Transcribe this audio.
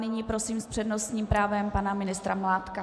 Nyní prosím s přednostním právem pana ministra Mládka.